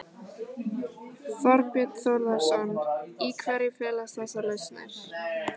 Þorbjörn Þórðarson: Í hverju felast þessar lausnir?